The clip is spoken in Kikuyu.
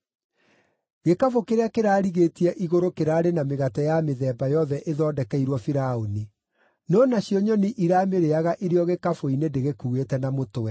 Gĩkabũ kĩrĩa kĩrarigĩtie igũrũ kĩraarĩ na mĩgate ya mĩthemba yothe ĩthondekeirwo Firaũni; no nacio nyoni iramĩrĩĩaga ĩrĩ o gĩkabũ-inĩ ndĩgĩkuuĩte na mũtwe.”